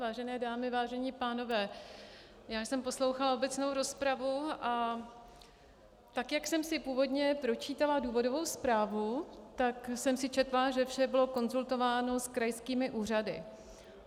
Vážené dámy, vážení pánové, já jsem poslouchala obecnou rozpravu, a tak jak jsem si původně počítala důvodovou zprávu, tak jsem si četla, že vše bylo konzultováno s krajskými úřady.